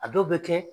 A dɔw bɛ kɛ